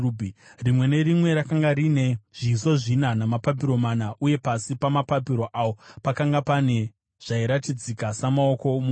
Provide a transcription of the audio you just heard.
Rimwe nerimwe rakanga rine zviso zvina namapapiro mana, uye pasi pamapapiro awo pakanga pane zvairatidzika samaoko omunhu.